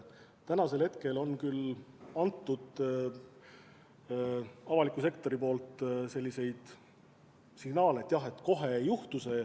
Seni on küll avalik sektor andnud selliseid signaale, et kohe see ei juhtu.